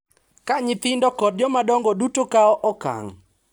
Ka nyithindo kod jomadongo duto kawo okang’